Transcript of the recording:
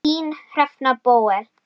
Þín, Hrefna Bóel.